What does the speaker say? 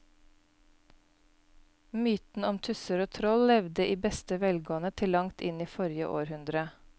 Mytene om tusser og troll levde i beste velgående til langt inn i forrige århundre.